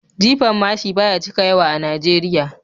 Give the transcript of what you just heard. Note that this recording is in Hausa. Jifan mashin ba ya cika yawa a Najeriya